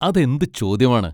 അതെന്ത് ചോദ്യമാണ്!